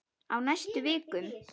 Á næstu vikum.